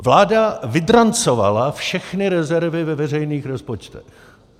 Vláda vydrancovala všechny rezervy ve veřejných rozpočtech.